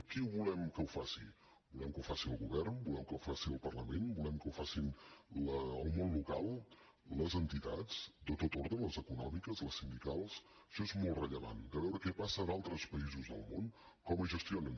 qui volem que ho faci volem que ho faci el govern volem que ho faci el parlament volem que ho facin el món local les entitats de tot ordre les econòmiques les sindicals això és molt rellevant de veure què passa a d’altres països del món com es gestionen